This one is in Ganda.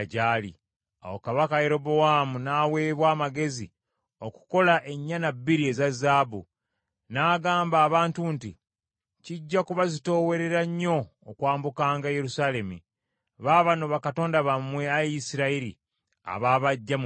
Awo Kabaka Yerobowaamu n’aweebwa amagezi okukola ennyana bbiri eza zaabu. N’agamba abantu nti, “Kijja kubazitoowerera nnyo okwambukanga e Yerusaalemi. Baabano bakatonda bammwe, Ayi Isirayiri, abaabaggya mu Misiri.”